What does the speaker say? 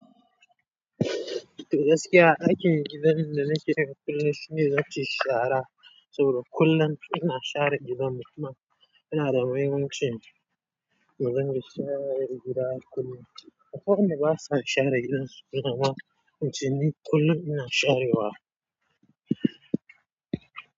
Gaskiya aikin gidan da nakeyi kullum shine zance shara saboda kullum ina share gidan mu kuma yanada mahimmancin mu ringa share gida kullum. Aƙwai wanda basa share gidan su, amma ince ni kullum ina sharewa.